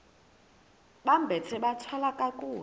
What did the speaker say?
bambathe bathwale kakuhle